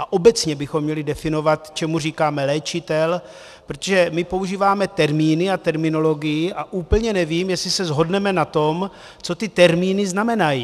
A obecně bychom měli definovat, čemu říkáme léčitel, protože my používáme termíny a terminologii a úplně nevím, jestli se shodneme na tom, co ty termíny znamenají.